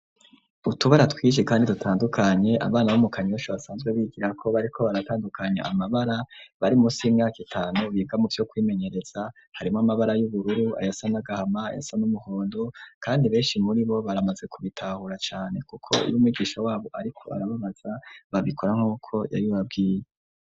Utubara twinshi kandi dutandukanye abana bo mukanyosha basanzwe bigirako bariko baratandukanye amabara bari munsi yimyaka itanu biga mu byo kwimenyereza harimo amabara y'ubururu ayasanagahama yasa n'umuhondo kandi benshi muri bo baramaze kubitahura cyane kuko iyo migisha wabo ariko arababaza babikora nkuko yabibabwiye.